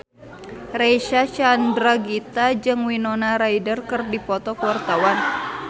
Reysa Chandragitta jeung Winona Ryder keur dipoto ku wartawan